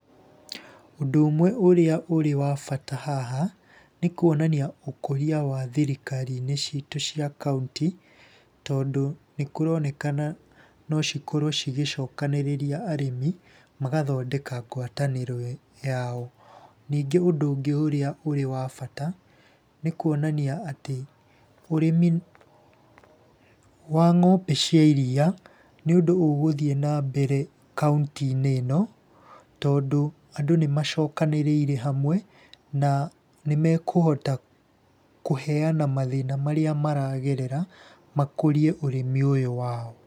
Ũndũ ũmwe ũrĩa ũrĩ wa bata haha, nĩ kuonania ũkũria wa thirikari-inĩ ciitũ cia kaũntĩ, tondũ nĩkũronekana no cikorwo cigĩcokanĩrĩria arĩmi magathondeka ngwatanĩro yao. Ningĩ ũndũ ũngĩ ũrĩa ũrĩ wa bata, nĩ kuonania atĩ ũrĩmi wa ng'ombe cia iria nĩ ũndũ ũgũthiĩ na mbere kaũnti-inĩ ĩno, tondũ andũ nĩ macokanĩrĩire hamwe, na nĩ mekũhota kũheana mathĩna marĩa maragerera makũrie ũrĩmi ũyũ wao.